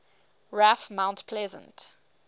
raf mount pleasant